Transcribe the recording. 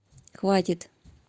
хватит